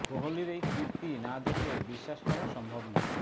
কোহলির এই কীর্তি না দেখলে বিশ্বাস করা সম্ভব নয়